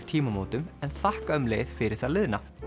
tímamótum en þakka um leið fyrir það liðna